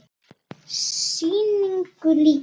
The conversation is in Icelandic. Sýningu lýkur.